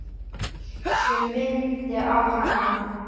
Allt sem minnti á hana.